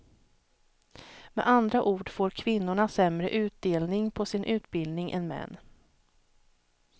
Med andra ord får kvinnorna sämre utdelning på sin utbildning än män.